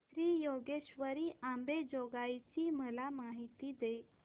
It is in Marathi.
श्री योगेश्वरी अंबेजोगाई ची मला माहिती दे